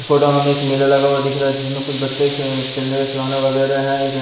फोडाओं में एक मेला लगा हुआ दिख रहा है जिसमें कुछ बच्चे के खेलने के खिलौने वगैरह है एक --